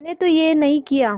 मैंने तो यह नहीं किया